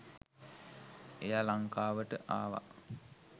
එයා ලංකාවට ආව